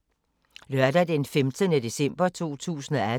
Lørdag d. 15. december 2018